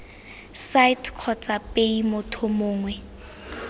site kgotsa paye motho mongwe